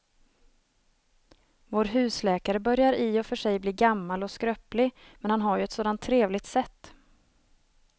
Vår husläkare börjar i och för sig bli gammal och skröplig, men han har ju ett sådant trevligt sätt!